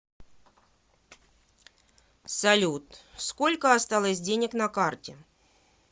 салют сколько осталось денег на карте